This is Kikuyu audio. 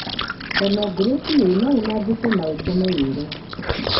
Ngano ngũrũ biũ nounangĩke na ũtũma yũle.